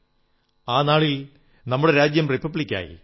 പ്രിയപ്പെട്ട ജനങ്ങളേ 1950 ജനുവരി 26 ന് നമ്മുടെ രാജ്യത്ത് ഭരണഘടന നടപ്പിലായി